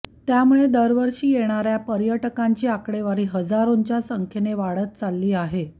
त्यामुळे दरवर्षी येणाऱ्या पर्यटकांची आकडेवारी हजारोंच्या संख्येनं वाढत चालली आहे